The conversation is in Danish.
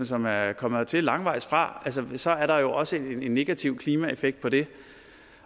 som er kommet hertil langvejs fra så er der jo også en negativ klimaeffekt ved det